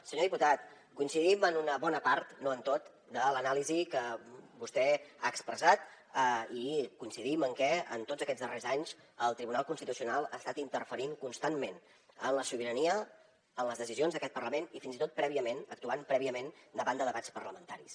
senyor diputat coincidim en una bona part no en tota de l’anàlisi que vostè ha expressat i coincidim en que en tots aquests darrers anys el tribunal constitucional ha estat interferint constantment en la sobirania en les decisions d’aquest parlament i fins i tot prèviament actuant prèviament davant de debats parlamentaris